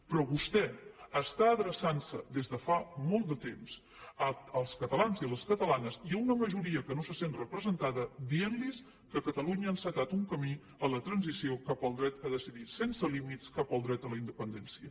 però vostè està adreçant se des de fa molt de temps als catalans i a les catalanes i a una majoria que no se sent representada dient los que catalunya ha encetat un camí en la transició cap al dret a decidir sense límits cap al dret a la independència